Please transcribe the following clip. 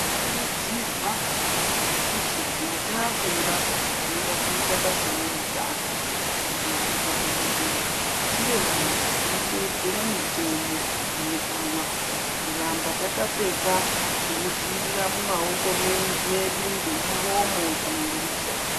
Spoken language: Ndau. Kurudzirwa kuti kana tafunga kuti tinoda kuita basa reutano kana kuita dhokodheya tive vantu vanoteedzera mitemo inodiwa kuramba takapfeka zvinodzivirira mumaoko medu ngemuromo kana ngemusoro.